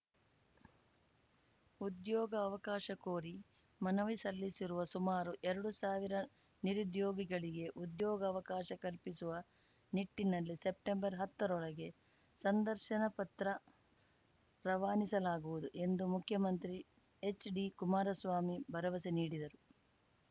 ಉದ್ಯೋಗ ಅವಕಾಶ ಕೋರಿ ಮನವಿ ಸಲ್ಲಿಸಿರುವ ಸುಮಾರು ಎರಡು ಸಾವಿರ ನಿರುದ್ಯೋಗಿಗಳಿಗೆ ಉದ್ಯೋಗಾವಕಾಶ ಕಲ್ಪಿಸುವ ನಿಟ್ಟಿನಲ್ಲಿ ಸೆಪ್ಟೆಂಬರ್ಹತ್ತರೊಳಗೆ ಸಂದರ್ಶನ ಪತ್ರ ರವಾನಿಸಲಾಗುವುದು ಎಂದು ಮುಖ್ಯಮಂತ್ರಿ ಎಚ್‌ಡಿ ಕುಮಾರಸ್ವಾಮಿ ಭರವಸೆ ನೀಡಿದರು